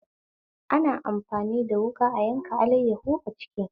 Ana amfani da wuƙa a yanka alaiyahu a kicin